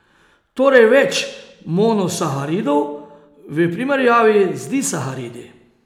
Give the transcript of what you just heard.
Torej več monosaharidov v primerjavi z disaharidi.